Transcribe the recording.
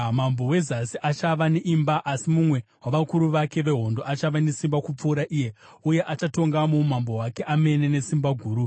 “Mambo weZasi achava neimba, asi mumwe wavakuru vake vehondo achava nesimba kupfuura iye uye achatonga muumambo hwake amene nesimba guru.